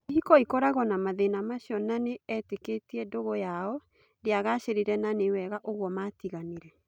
Ihiko ikoragwo na mathĩ na macio na etĩ kĩ tie ndũgũ yao ndĩ agacĩ rire na nĩ wega ũguo matiganire.